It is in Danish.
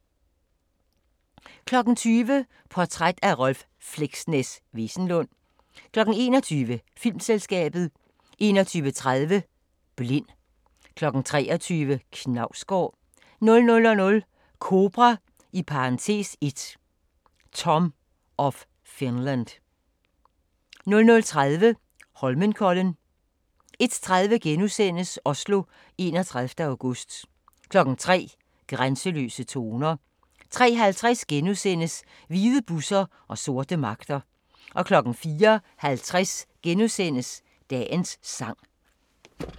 20:00: Portræt af Rolv "Fleksnes" Wesenlund 21:00: Filmselskabet 21:30: Blind 23:00: Knausgård 00:00: Kobra (1) – Tom of Finland 00:30: Holmenkollen 01:30: Oslo, 31. august * 03:00: Grænseløse toner 03:50: Hvide busser og sorte magter * 04:50: Dagens sang *